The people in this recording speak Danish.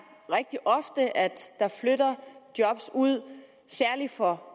rigtig ofte at der flytter job ud særlig for